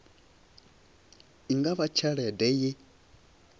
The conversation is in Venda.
i nga vha tshelede ye